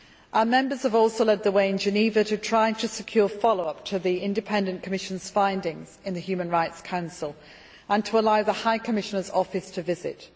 Our members have also led the way in Geneva to try to secure follow up to this Independent Commission's findings in the Human Rights Council, and to allow the High Commissioner's Office to visit.